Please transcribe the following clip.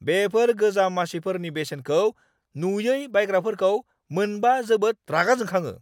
बेफोर गोजाम मासिफोरनि बेसेनखौ नुयै बायग्राफोरखौ मोनबा जोबोद रागा जोंखाङो।